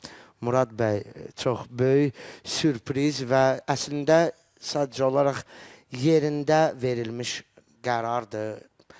Murad bəy çox böyük sürpriz və əslində sadəcə olaraq yerində verilmiş qərardır.